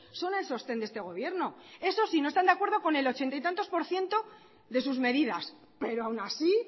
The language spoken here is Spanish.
son el sostén de este gobierno eso sí no están de acuerdo con el ochenta y tantos por ciento de sus medidas pero aún así